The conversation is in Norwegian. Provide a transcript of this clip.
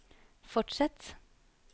fortsett